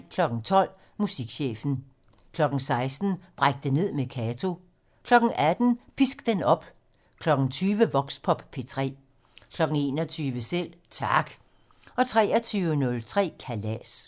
12:00: Musikchefen 16:00: Bræk det ned med Kato 18:00: Pisk den op 20:00: Voxpop P3 21:00: Selv Tak 23:03: Kalas